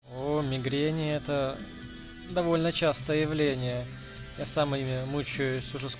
оо мигрени это довольно частое явление я сам ими мучаюсь уже ск